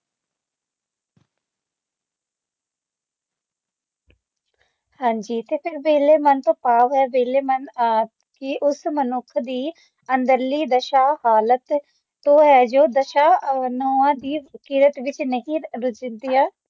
ਹਾਜੀ ਫਿਰ ਵੇਹਲੇ ਮਨ ਤੋਂ ਭਾਵ ਹੈ ਵਿਹਲੇ ਮਨ ਕੀ ਉਸ ਮਨੁੁੱਖ ਦੀ ਮਨਅੰਦਰਲੀ ਦਸ਼ਾ ਹਾਲਤ ਕੌਣ ਹੈ ਜੋ ਦਸਾਂ ਨਹੁੰਆਂ ਦੀ ਕਿਰਤ ਵੇਖ ਨਹੀਂ ਲੱਗ ਸਕਿਆ